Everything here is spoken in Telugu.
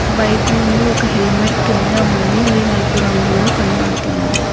బైకు ముందు ఒక హెల్మెట్ కింద ఉంది అది నలుపు రంగులో కనబడుతున్నది.